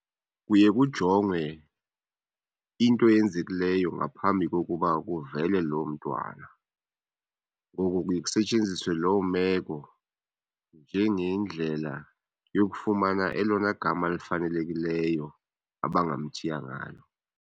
Kuye kujongwe into eyenzekileyo ngaphambi kokuba kuvele loo mntwana. Ngoku kuye kusetyenziswe loo meko njengendlela yokufumana elona gama elifanelekileyo abangamthiya ngalo.